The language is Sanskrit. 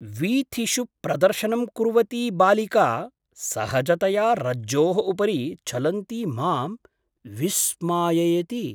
वीथिषु प्रदर्शनं कुर्वती बालिका सहजतया रज्जोः उपरि चलन्ती मां विस्माययति।